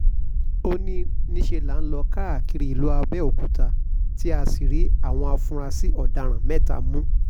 ó ní níṣẹ́ la lọ́ọ́ káàkiri ìlú abẹ́òkúta tá a sì rí àwọn afurasí ọ̀daràn mẹ́ta mú